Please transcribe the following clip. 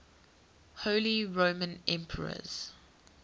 holy roman emperors